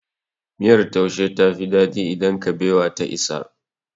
Miyar taushe ta fi daɗi idan kabewa ta isa.